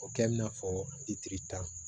O kɛ i n'a fɔ i tirita